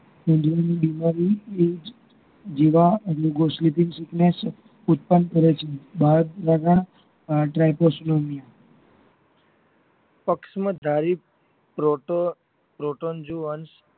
બીમારી એજ જીવા એટલે ઉત્પાદન કરે છે dripostnomiya પક્ષમદ ધારી proton proton જીઓન અંશ